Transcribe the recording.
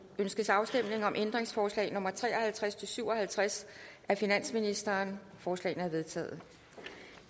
ønskes afstemning om ændringsforslag nummer tre og halvtreds til syv og halvtreds af finansministeren forslagene er vedtaget